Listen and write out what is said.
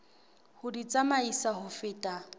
ho di tsamaisa ho feta